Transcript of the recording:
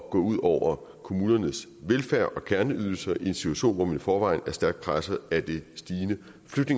at gå ud over kommunernes velfærd og kerneydelser i en situation hvor man i forvejen er stærkt presset af det stigende